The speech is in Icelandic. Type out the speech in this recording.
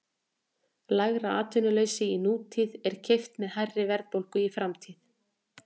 Lægra atvinnuleysi í nútíð er keypt með hærri verðbólgu í framtíð.